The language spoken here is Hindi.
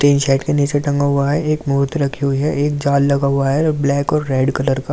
तिन के नीचे टंगा हुआ है एक मोत्र रखी हुई है एक जाल लगा हुआ है ब्लैक और रेड कलर का--